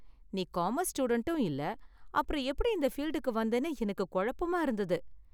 நீ காமர்ஸ் ஸ்டூடண்டும் இல்ல, அப்புறம் எப்படி இந்த ஃபீல்டுக்கு வந்தனு எனக்கு குழப்பமா இருந்தது.